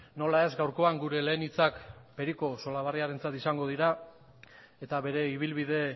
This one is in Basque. nola ez gaurkoan gure lehen hitzak periko solabarriarentzat izango dira eta bere ibilbide